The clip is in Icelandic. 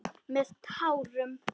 Með tárum.